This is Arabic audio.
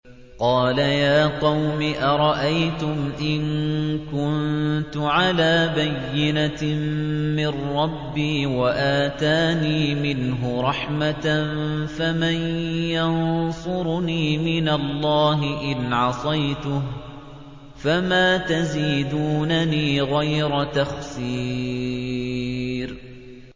قَالَ يَا قَوْمِ أَرَأَيْتُمْ إِن كُنتُ عَلَىٰ بَيِّنَةٍ مِّن رَّبِّي وَآتَانِي مِنْهُ رَحْمَةً فَمَن يَنصُرُنِي مِنَ اللَّهِ إِنْ عَصَيْتُهُ ۖ فَمَا تَزِيدُونَنِي غَيْرَ تَخْسِيرٍ